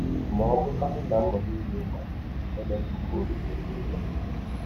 Ma ọ́ bụrụkwanụ na mbọ niile ị gbara emeghị ka ọbi kwụsị ịjọ gị njọ